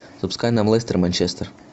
запускай нам лестер манчестер